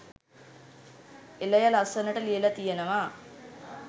එලය ලස්සනට ලියලා තියෙනවා